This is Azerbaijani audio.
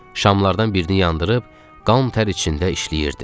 Şamlardan birini yandırıb qan-tər içində işləyirdi.